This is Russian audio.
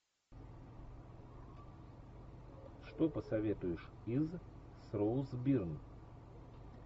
что посоветуешь из с роуз бирн